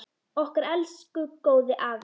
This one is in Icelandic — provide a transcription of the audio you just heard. Okkar elsku góði afi!